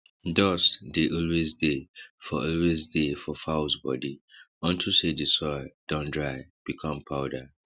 dust dey always dey for always dey for fowls body unto say d soil don dry become powder